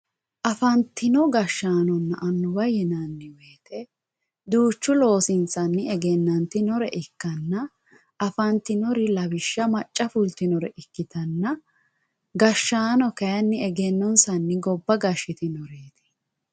Afantino gashaanona anuwa yinaniwoyite duuchu loosini egenanitinore ikkana afantinori lawishsha macca fultinori ikitanna gashaano kayini egenonsani gobba gashitinoreet.